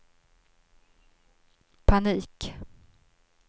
panik